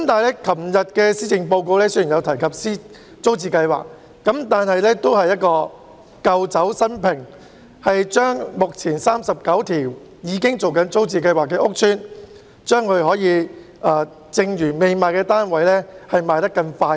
昨天的施政報告雖然有提及租置計劃，但也只是舊酒新瓶，只提出加快出售目前39個租置計劃屋邨的未售出單位。